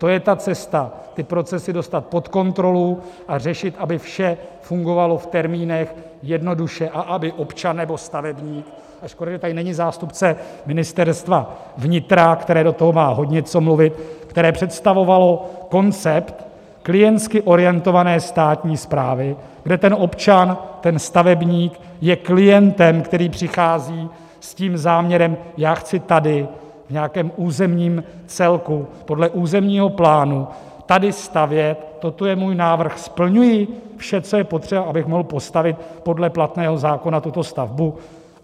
To je ta cesta ty procesy dostat pod kontrolu a řešit, aby vše fungovalo v termínech, jednoduše a aby občan nebo stavebník - a škoda, že tady není zástupce Ministerstva vnitra, které do toho má hodně co mluvit, které představovalo koncept klientsky orientované státní správy, kde ten občan, ten stavebník je klientem, který přichází s tím záměrem: já chci tady v nějakém územním celku podle územního plánu tady stavět, toto je můj návrh - splňuji vše, co je potřeba, abych mohl postavit podle platného zákona tuto stavbu?